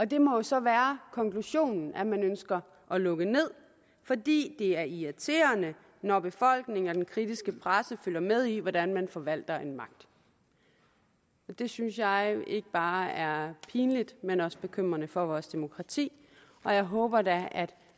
det må jo så være konklusionen at man ønsker at lukke ned fordi det er irriterende når befolkningen og den kritiske presse følger med i hvordan man forvalter en magt det synes jeg ikke bare er pinligt men også bekymrende for vores demokrati og jeg håber da at